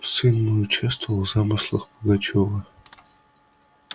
сын мой участвовал в замыслах пугачёва